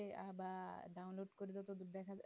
এ আবার download করবে তো দেখাবে